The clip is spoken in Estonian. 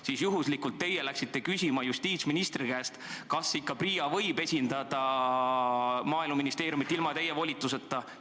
Siis teie juhuslikult läksite küsima justiitsministri käest, kas PRIA ikka võib esindada Maaeluministeeriumit ilma teie volituseta.